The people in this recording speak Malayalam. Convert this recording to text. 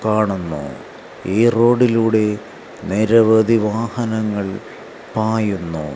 കാണുന്ന ഈ റോഡിലൂടെ നിരവധി വാഹനങ്ങൾ പായുന്നു.